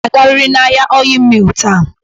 Ị ga-agarịrị n'ahịa Ọịyị Mịl taa!